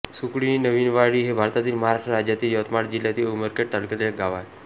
सुकळी नवीनवाडी हे भारतातील महाराष्ट्र राज्यातील यवतमाळ जिल्ह्यातील उमरखेड तालुक्यातील एक गाव आहे